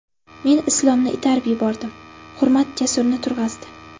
Men Islomni itarib yubordim, Hurmat Jasurni turg‘azdi.